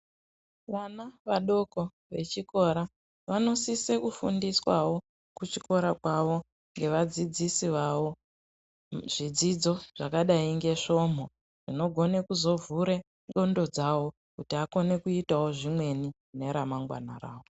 Vana vadoko vechikora , vanosise kufundiswawo kuchikora kwavo, ngevadzidzisi vavo, zvidzidzo zvakadai ngesvomhu, zvinogone kuzovhure ndxondo dzavo, kuti akone kuzoitawo zvimweni ,mune ramangwana ravo.